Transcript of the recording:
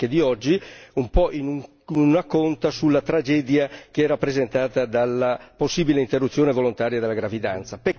di oggi un po' in una conta sulla tragedia che è rappresentata dalla possibile interruzione volontaria della gravidanza.